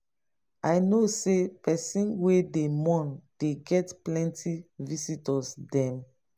i know sey pesin wey dey mourn dey get plenty visitor dem.